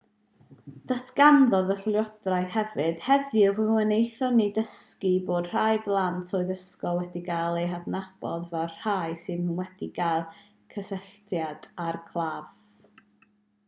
datganodd y llywodraethwr hefyd heddiw fe wnaethon ni ddysgu bod rhai plant oed ysgol wedi cael eu hadnabod fel rhai sydd wedi cael cysylltiad â'r claf